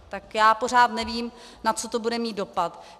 Tak já pořád nevím, na co to bude mít dopad.